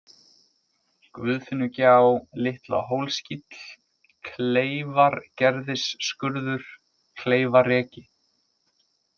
Guðfinnugjá, Litla-Hólskíll, Kleyfargerðisskurður, Kleyfareki